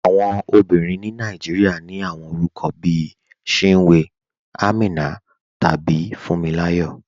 Awọn ọmọbìrín ni Nàìjíríà ní awọn orúkọ̀ bí Chínwé, Àmínà, tàbí Fúǹmíláyọ̀.